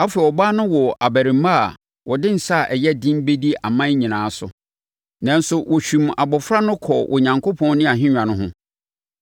Afei, ɔbaa no woo abarimaa a ɔde nsa a ɛyɛ den bɛdi aman nyinaa so. Nanso, wɔhwim abɔfra no kɔɔ Onyankopɔn ne nʼahennwa ho.